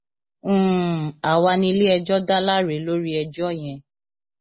um àwa níléẹjọ dá láre lórí ẹjọ yẹn